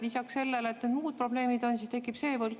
Lisaks sellele, et on muud probleemid, tekib ka see võlg.